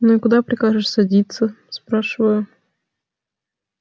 ну и куда прикажешь садиться спрашиваю